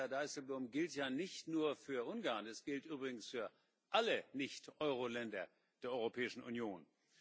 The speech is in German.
Und das, Herr Dijsselbloem, gilt ja nicht nur für Ungarn, es gilt übrigens für alle Nicht Euroländer der Europäischen Union.